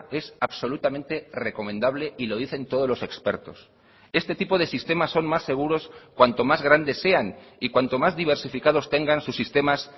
es absolutamente recomendable y lo dicen todos los expertos este tipo de sistemas son más seguros cuanto más grandes sean y cuanto más diversificados tengan sus sistemas